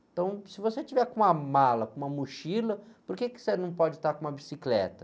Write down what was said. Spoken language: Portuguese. Então, se você estiver com uma mala, com uma mochila, por que que você não pode estar com uma bicicleta?